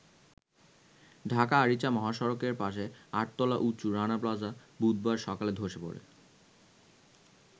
ঢাকা-আরিচা মহাসড়কের পাশে আট-তলা উঁচু রানা প্লাজা বুধবার সকালে ধসে পড়ে।